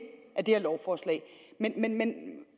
af det her lovforslag men